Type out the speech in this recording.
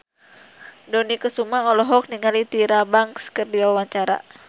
Dony Kesuma olohok ningali Tyra Banks keur diwawancara